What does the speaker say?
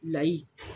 Layi